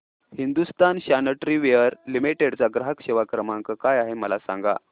Hindustan sanitaryware limited चा ग्राहक सेवा क्रमांक काय आहे मला सांगा